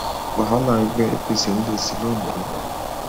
wàhálà ẹgbẹ apc ń le sí i londo